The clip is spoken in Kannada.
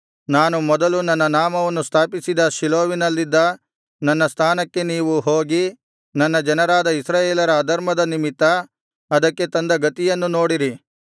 ನಾನು ಮೊದಲು ನನ್ನ ನಾಮವನ್ನು ಸ್ಥಾಪಿಸಿದ ಶೀಲೋವಿನಲ್ಲಿನ ನನ್ನ ಸ್ಥಾನಕ್ಕೆ ನೀವು ಹೋಗಿ ನನ್ನ ಜನರಾದ ಇಸ್ರಾಯೇಲರ ಅಧರ್ಮದ ನಿಮಿತ್ತ ಅದಕ್ಕೆ ತಂದ ಗತಿಯನ್ನು ನೋಡಿರಿ